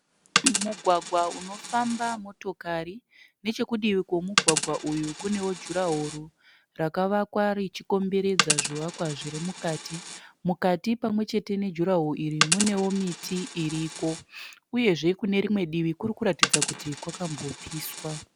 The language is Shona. Mugwagwa unofamba motokari. Nechekudivi kwomugwagwa uyu kunewo jurahoro rakavakwa richikomberedza zvivakwa zvirimukati. Mukati pamwechete nejurahoro iri munewo miti iriko. Uyezve kunerimwe divi kurikuratidza kuti kwakambopiswa.